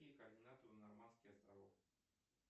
какие координаты у нормандских островов